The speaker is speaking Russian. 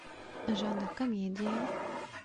жанр комедия